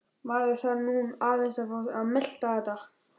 Maður þarf nú aðeins að fá að melta þetta.